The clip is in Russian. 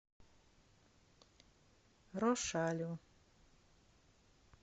рошалю